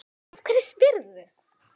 Af hverju spyrðu?